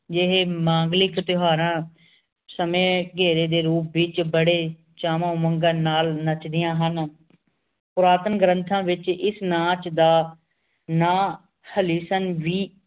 ਜਿਹੀ ਮੰਗਲੀਕ ਤਿਓਹਾਰਾਂ ਸਮੇਂ ਘੇਰੇ ਰੂਪ ਦੇ ਵੇਚਬੜੇ ਚਾਵਾਂ ਉਮੰਗਾਂ ਨਾਲ ਨੱਚਦੀਆਂ ਹਨ ਪੁਰਾਤਨ ਗ੍ਰੰਥਾਂ ਵੇਚ ਇਸ ਨਾਚ ਦਾ ਨਾ